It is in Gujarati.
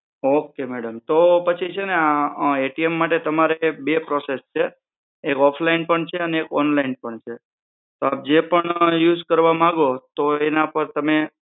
okay madam તો પછી છે ને આ માટે તમારે બે process છે એક offline પણ છે અને એક online પણ છે તો આપ જે પણ use કરવા માંગો તો એના પાર તમે